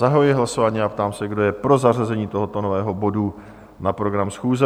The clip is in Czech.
Zahajuji hlasování a ptám se, kdo je pro zařazení tohoto nového bodu na program schůze?